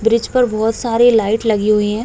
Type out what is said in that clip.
Bridge पर बहोत सारे लाइट लगी हुई हैं।